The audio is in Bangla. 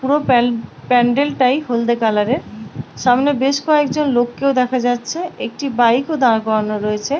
পুরো প্যান প্যান্ডেল -টাই হলদে কালার -এর সামনে বেশ কয়েকজন লোককেও দেখা যাচ্ছে একটি বাইক -ও দাঁড় করানো রয়েছে।